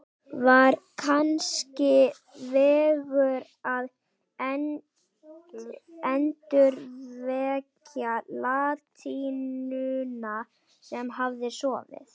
Var kannski vegur að endurvekja latínuna sem hafði sofið